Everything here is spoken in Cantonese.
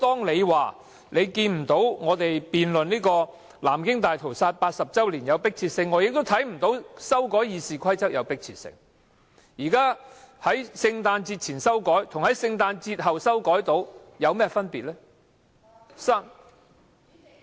你說你看不到我們辯論南京大屠殺80周年的迫切性，我也看不到修改《議事規則》的迫切性，在聖誕節前修改與在聖誕節後修改有何分別？